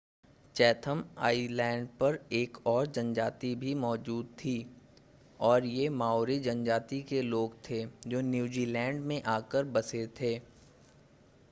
Chatham Islands पर एक और जनजाति भी मौजूद थी और ये माओरी जनजाति के लोग थे जो न्यूजीलैंड से आकर बसे थे